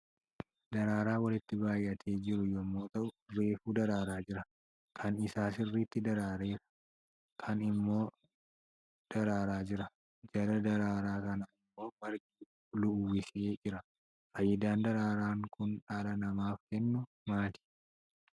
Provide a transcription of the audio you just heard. Daraaraa walitti baayyatee jiru yommuu ta'u, reefu daraaraa jira. Kaan isaa sirriitti daraareera. Kaan immoo daraaraa jira. Jala daraaraa kanaa immoo margi uwwisee jira. Faayidaan daraaraan kun dhala namaaf kennu maali?